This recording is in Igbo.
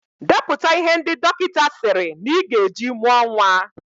Depụta ihe ndị dọkịta sịrị na Ị gaa eji mụọ nwa